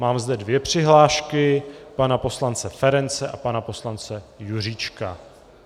Mám zde dvě přihlášky, pana poslance Ference a pana poslance Juříčka.